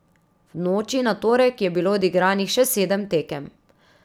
V noči na torek je bilo odigranih še sedem tekem.